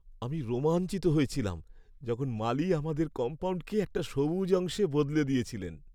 আমি রোমাঞ্চিত হয়েছিলাম যখন মালী আমাদের কম্পাউন্ডকে একটা সবুজ অংশে বদলে দিয়েছিলেন।